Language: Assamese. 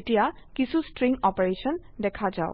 এতিয়া কিছো স্ট্ৰিং অপাৰেশন দেখা যাওক